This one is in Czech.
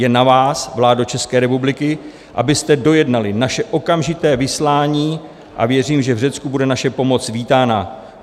Je na vás, vládo České republiky, abyste dojednali naše okamžité vyslání, a věřím, že v Řecku bude naše pomoc vítána.